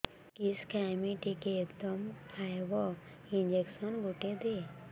କିସ ଖାଇମି ଟିକେ ଦମ୍ଭ ଆଇବ ଇଞ୍ଜେକସନ ଗୁଟେ ଦେ